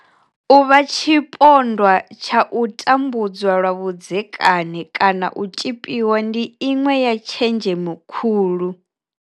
Uvha tshipondwa tshau tambudzwa lwa vhudzekani kana u tzhipiwa ndi iṅwe ya tshenzhemo khulu.